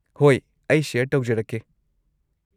ꯍꯣꯏ, ꯑꯩ ꯁꯦꯌꯔ ꯇꯧꯖꯔꯛꯀꯦ꯫